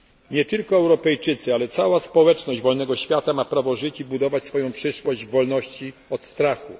Nie tylko Europejczycy, ale cała społeczność wolnego świata ma prawo żyć i budować swoją przyszłość w wolności od strachu.